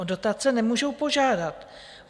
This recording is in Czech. O dotace nemůžou požádat.